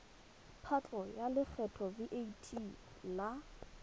patlo ya lekgetho vat la